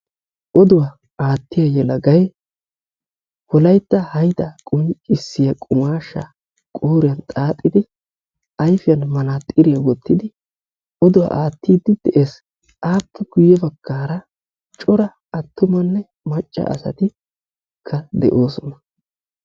Oduwa aattiya yelagayi wolaytta haydaa qonccissiya qumaashshaa qooriyan xaaxidi ayfiyan manaaxxiriya wottidi oduwa aattiiddi de"es. Appe guyye baggaara cora attumanne macca asatikka de"oosona.